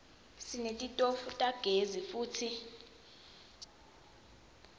sinetitofu tagezi futsi